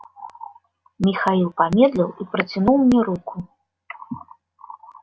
михаил помедлил и протянул мне руку